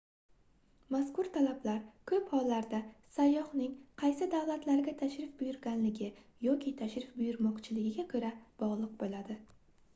mazkur talablar koʻp hollarda sayyohning qaysi davlatlarga tashrif buyurganligi yoki tashrif buyurmoqchiligiga bogʻliq boʻladi